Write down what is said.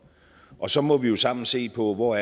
og så må vi jo sammen se på hvor